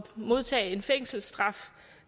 modtage en fængselsstraf